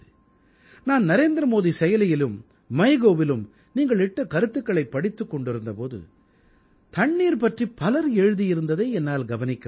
நான் நரேந்திரமோடி செயலியிலும் Mygovஇலும் நீங்கள் இட்ட கருத்துக்களைப் படித்துக் கொண்டிந்த போது தண்ணீர் பற்றிப் பலர் எழுதியதை என்னால் கவனிக்க முடிந்தது